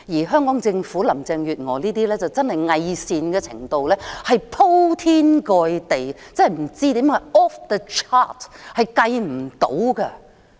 香港政府和林鄭月娥偽善的程度可謂是鋪天蓋地的，是不靠譜 off the chart 的。